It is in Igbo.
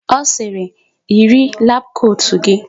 Ọ sịrị, "yiri labụ kotu gị"!